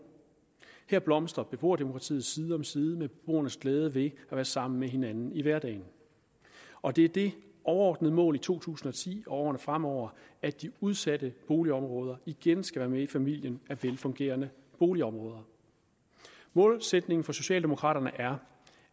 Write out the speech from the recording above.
her blomstrer beboerdemokratiet side om side med beboernes glæde ved at være sammen med hinanden i hverdagen og det er det overordnede mål i to tusind og ti og årene fremover at de udsatte boligområder igen skal være med i familien af velfungerende boligområder målsætningen for socialdemokraterne er